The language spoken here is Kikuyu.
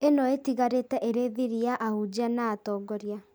ĩno ĩtigarĩte ĩrĩ thiri ya ahunjia na atongoria